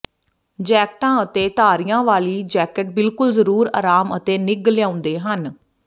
ਜੈਕਟਾਂ ਅਤੇ ਧਾਰੀਆਂ ਵਾਲੀਆਂ ਜੈਕਟ ਬਿਲਕੁਲ ਜ਼ਰੂਰ ਆਰਾਮ ਅਤੇ ਨਿੱਘ ਲਿਆਉਂਦੇ ਹਨ